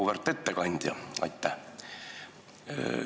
Auväärt ettekandja, aitäh!